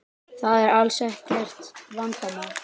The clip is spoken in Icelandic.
Það er alls ekkert vanmat.